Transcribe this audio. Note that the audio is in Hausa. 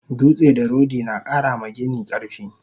Dutse da rodi nakara ma gini karfi